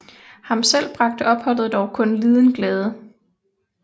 Ham selv bragte dog opholdet kun liden glæde